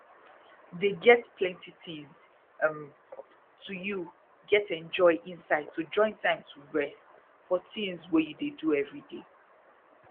dey get plenty tins um to you get enjoy inside to join time to rest for tins wey you dey do everyday